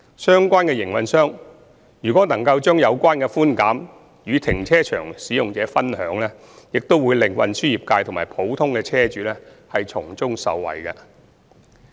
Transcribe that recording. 相關營運商若能把有關寬減與停車場使用者分享，將會令運輸業界及普通車主從中受惠。